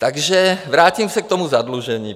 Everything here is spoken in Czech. Takže vrátím se k tomu zadlužení.